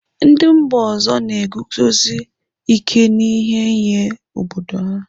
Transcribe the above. Ndị mba ọzọ na-eguzosi ike n'ihe nye obodo ha.